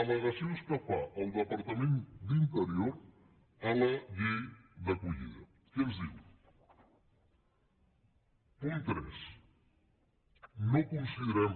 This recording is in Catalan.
al·legacions que fa el departament d’interior a la llei d’acollida què ens diu punt tres no considerem